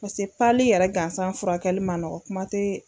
Pase pali yɛrɛ gansan furakɛli ma nɔgɔ kuma te